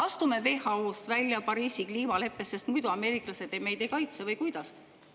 Astume WHO-st ja Pariisi kliimaleppest välja, sest muidu ameeriklased meid ei kaitse, või kuidas?